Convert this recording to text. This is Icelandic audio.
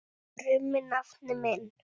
krummi nafni minn.